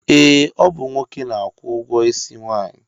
Ee, ọ bụ nwoke na-akwụ ụgwọisi nwaanyị